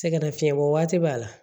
Sɛgɛnnafiɲɛbɔ waati b'a la